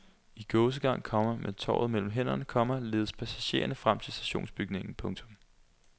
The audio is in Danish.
I gåsegang, komma med tovet mellem hænderne, komma ledes passagererne frem til stationsbygningen. punktum